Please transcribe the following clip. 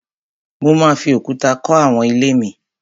Mo máa fi òkúta kọ́ àwọn ilé mi